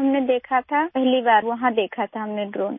ہم نے وہاں دیکھا تھا، پہلی بار ہم نے وہاں ڈرون دیکھا تھا